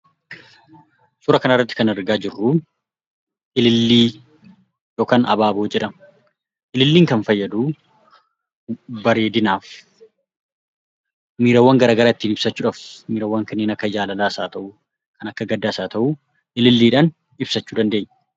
Suuraa kana irratti kan argaa jirru ilillii yookaan abaaboo jedhama. Ililliin kan fayyadu bareedinaaf, miirawwan garaagaraa ittiin ibsachuudhaaf (miirawwan kanneen akka jaalalaas haa ta'u, kan akka gaddaas haa ta'u) ililliidhaan ibsachuu dandeenya.